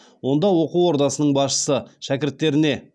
онда оқу ордасының басшысы шәкірттеріне